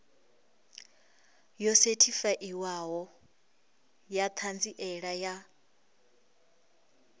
yo sethifaiwaho ya ṱhanziela ya